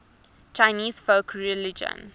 chinese folk religion